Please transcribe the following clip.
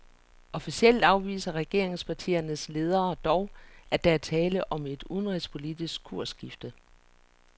Officielt afviser regeringspartiernes ledere dog, at der er tale om et udenrigspolitisk kursskifte.